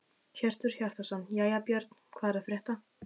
Hjörtur Hjartarson: Jæja Björn, hvað er að frétta?